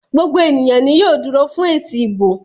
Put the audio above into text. gbogbo ènìyàn yóò dúró fún èsì ìbò